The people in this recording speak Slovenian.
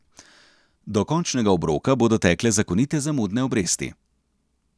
Do končnega obroka bodo tekle zakonite zamudne obresti.